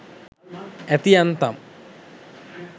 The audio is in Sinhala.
ඇති යන්තම්!